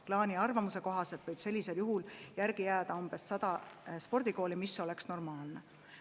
Plaani ja prognoosi kohaselt võib sellisel juhul järgi jääda umbes 100 spordikooli, mis oleks normaalne.